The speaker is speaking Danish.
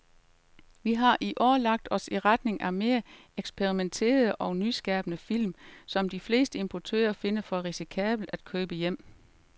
Vi har i år lagt os i retning af mere eksperimenterede og nyskabende film, som de fleste importører finder for risikable at købe hjem.